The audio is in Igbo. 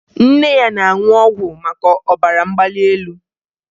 Nne ya na-aṅụ ọgwụ maka ọbara mgbali elu